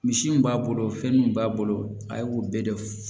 Misi min b'a bolo fɛn min b'a bolo a ye o bɛɛ de